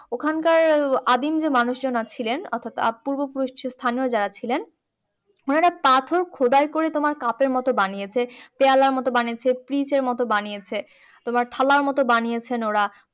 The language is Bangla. ওখান কার আদিম যে মানুষজন ছিলেন অর্থাৎ পূর্ব পুরুষ স্থানিয় যারা ছিলেন ওনারা পাথর খোদাই করে তোমার cup এর মতো বানিয়েছে পেয়ালার মতো বানিয়েছে মতো বানিয়েছে তোমার থালার মতো বানিয়েছেন ওরা